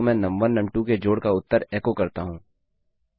तो मैं num one num two के जोड़ का उत्तर एको करता हूँ